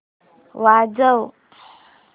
वाजव